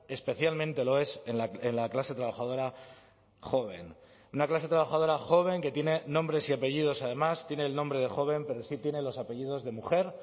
especialmente lo es en la clase trabajadora joven una clase trabajadora joven que tiene nombres y apellidos además tiene el nombre de joven pero sí tienen los apellidos de mujer